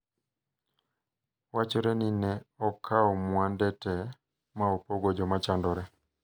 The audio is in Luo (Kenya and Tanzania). Wachore ni ne okawo mwande tee ma opogo jomachandore.